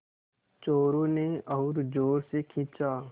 चोरु ने और ज़ोर से खींचा